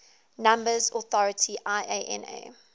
numbers authority iana